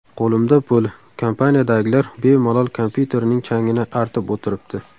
Qo‘limda pul, kompaniyadagilar bemalol kompyuterining changini artib o‘tiribdi.